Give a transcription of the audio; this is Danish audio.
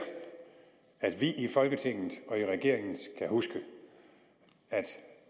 at vi i folketinget og regeringen skal huske at